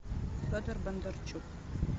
федор бондарчук